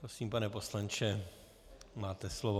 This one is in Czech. Prosím, pane poslanče, máte slovo.